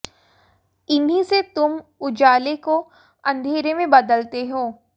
इन्हीं से तुम उजाले को अंधेरे में बदलते हो